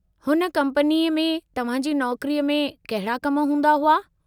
हुन कम्पनी में तव्हां जी नौकरी में कहिड़ा कम हूंदा हुआ?